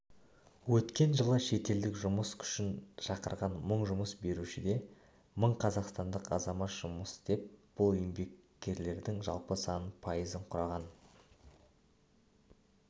өткен жылы шетелдік жұмыс күшін шақырған мың жұмыс берушіде мың қазақстандық азамат жұмыс істеп бұл еңбеккерлердің жалпы санының пайызын құраған